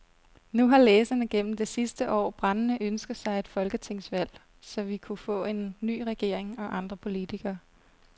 Nu har læserne gennem det sidste år brændende ønsket sig et folketingsvalg, så vi kunne få en ny regering og andre politikere.